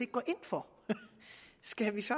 går ind for skal vi så